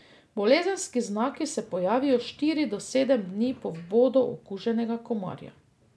Bolezenski znaki se pojavijo štiri do sedem dni po vbodu okuženega komarja.